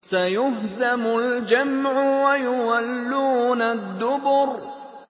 سَيُهْزَمُ الْجَمْعُ وَيُوَلُّونَ الدُّبُرَ